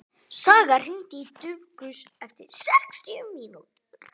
Saga, hringdu í Dufgus eftir sextíu mínútur.